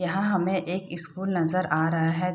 यहां हमे एक स्कूल नजर आ रहा है।